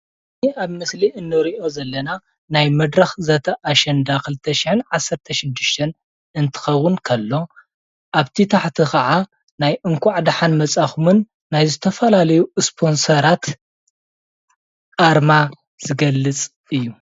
እዚ ኣብ ምስሊ እንሪኦ ዘለና ናይ መድረኽ ዘተ ኣሸንዳ 2016 እንትኸዉን ከሎ ኣብቲ ታሕቲ ከዓ ናይ እንኳዕ ደሓን መፃእኹምን ናይ ዝተፈላለዩ ስፖንሰራት ኣርማ ዝገልፅ እዩ።